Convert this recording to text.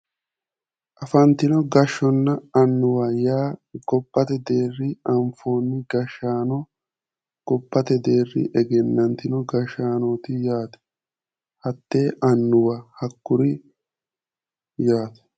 Afantino gashshonna annuwa yaa gobbate deerrinni anfoonni gashshaano gobbate deerrinni egennantino gashshaanooti yaate hattee annuwa hakkuriit yaate.